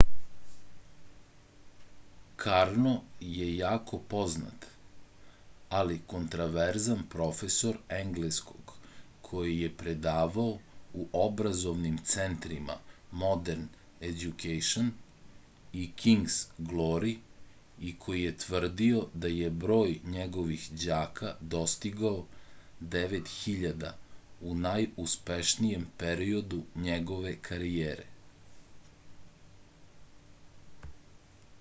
karno je jako poznat ali kontroverzan profesor engleskog koji je predavao u obrazovnim centrima modern education i king's glory i koji je tvrdio da je broj njegovih đaka dostigao 9000 u najuspešnijem periodu njegove karijere